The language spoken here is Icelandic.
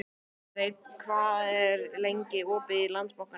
Steinn, hvað er lengi opið í Landsbankanum?